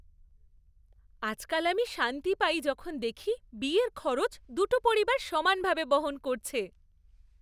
আজকাল আমি শান্তি পাই যখন দেখি বিয়ের খরচা দুটো পরিবার সমানভাবে বহন করছে।